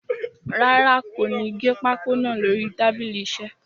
Rárá, kò ní gé pákó naa lórí tábìlì iṣẹ́.